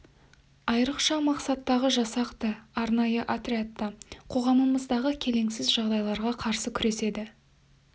айрықша мақсаттағы жасақ та арнайы отряд та қоғамымыздағы келеңсіз жағдайларға қарсы күреседі